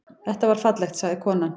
Það var fallegt, sagði konan.